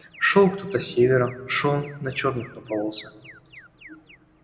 шёл кто-то с севера шёл на чёрных напоролся